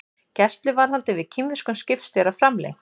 Gæsluvarðhald yfir kínverskum skipstjóra framlengt